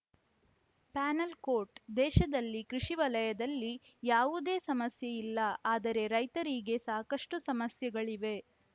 panel ಕೋಟ್‌ ದೇಶದಲ್ಲಿ ಕೃಷಿ ವಲಯದಲ್ಲಿ ಯಾವುದೇ ಸಮಸ್ಯೆ ಇಲ್ಲ ಆದರೆ ರೈತರಿಗೆ ಸಾಕಷ್ಟುಸಮಸ್ಯೆಗಳಿವೆ